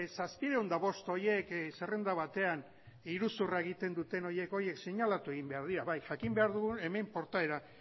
zazpiehun eta bost horiek zerrenda batean iruzurra egiten duten horiek horiek seinalatu egin behar dira bai jakin behar dugu hemen portaera